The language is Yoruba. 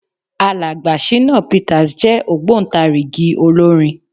Alàgbà Ṣínà Peters jẹ́ ògbóntarìgì olórin.